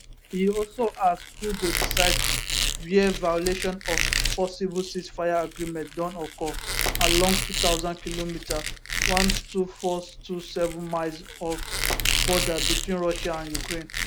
e also ask who go decide wia violation of possible ceasefire agreement don occur along 2000km 12427 miles of border between russia and ukraine